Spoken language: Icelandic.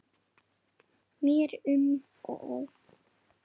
Mér er um og ó